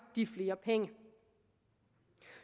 de flere penge